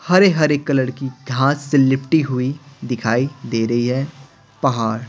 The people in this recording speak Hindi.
हरे-हरे कलर की घास से लिपटी हुई दिखाई दे रही है पहाड़--